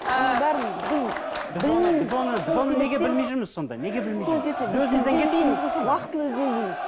біз оны неге білмей жүрміз сонда неге білмей жүрміз уақытылы ізденбейміз